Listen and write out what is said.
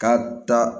K'a da